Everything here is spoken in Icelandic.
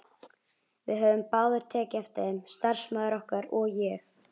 Við höfðum báðir tekið eftir þeim, starfsmaður okkar og ég.